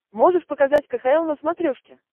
можешь показать кхл на смотрешке